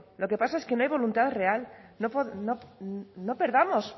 lo que pasa es que no hay voluntad real no perdamos